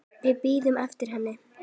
Við bíðum eftir henni